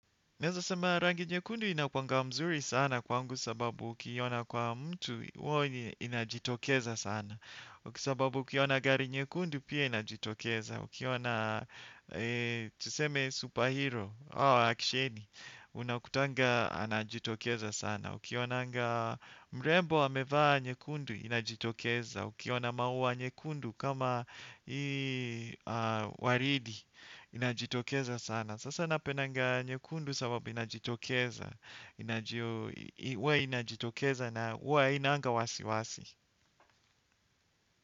Neweza sema rangi nyekundu inakuwanga mzuri sana kwangu sababu ukiiona kwa mtu huwa inajitokeza sana. Sababu ukiona gari nyekundu pia inajitokeza. Ukiona tuseme superhero au actioni unakutanga anajitokeza sana. Ukionanga mrembo amevaa nyekundu inajitokeza. Ukiona maua nyekundu kama waridi inajitokeza sana. Sasa napendanga nyekundu sababu inajitokeza, inajio, huwa inajitokeza na huwa iananga wasiwasi.